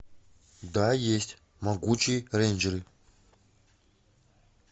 да есть могучие рейнджеры